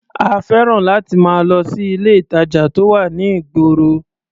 A fẹ́ràn láti máa lọ sí ilé-ìtàjà tó wà ní ìgboro.